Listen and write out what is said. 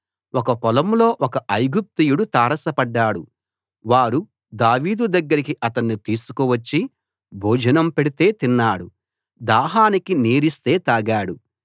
ఒక పొలంలో ఒక ఐగుప్తీయుడు తారసపడ్డాడు వారు దావీదు దగ్గరికి అతణ్ణి తీసుకు వచ్చి భోజనం పెడితే తిన్నాడు దాహానికి నీరిస్తే తాగాడు